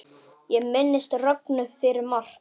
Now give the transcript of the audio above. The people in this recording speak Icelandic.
Ég minnist Rögnu fyrir margt.